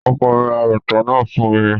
Ọkọ mi ra bàtà náà fún mi